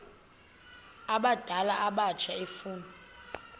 abadala abatsha efuna